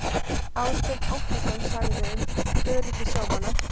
Ásbjörn Óttarsson sagði um öryggi sjómanna.